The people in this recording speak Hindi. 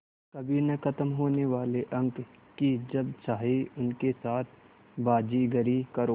कभी न ख़त्म होने वाले अंक कि जब चाहे उनके साथ बाज़ीगरी करो